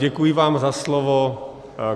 Děkuji vám za slovo.